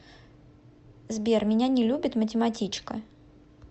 сбер меня не любит математичка